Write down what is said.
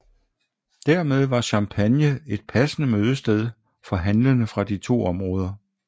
Dermed var Champagne et passende mødested for handlende fra de to områder